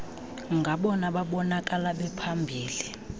ngabona babonakala bephambili